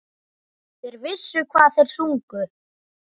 Þeir vissu hvað þeir sungu.